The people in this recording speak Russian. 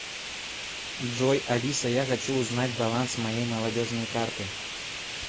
джой алиса я хочу узнать баланс моей молодежной карты